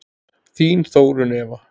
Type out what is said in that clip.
Þín Þórunn Eva.